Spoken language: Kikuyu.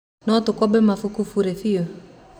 No tũkombe mabuku burĩ biũ?